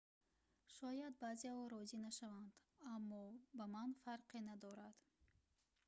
шояд баъзеҳо розӣ нашаванд аммо ба ман фарқе надорад